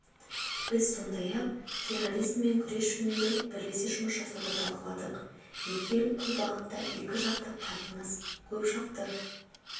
біз сондай-ақ терроризммен күрес жөнінде бірлесе жұмыс жасауды талқыладық екі ел бұл бағытта екіжақты қатынас көпжақты